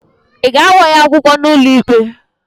ị ga-agba ya akwụkwọ n'ụlọikpe?